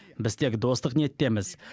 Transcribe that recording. біз тек достық ниеттеміз